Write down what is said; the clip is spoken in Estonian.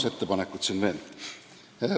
Kaks ettepanekut on siin veel.